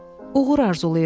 Uğur arzulayıram.